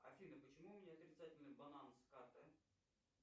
афина почему у меня отрицательный баланс карты